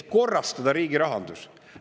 Et korrastada riigi rahandus.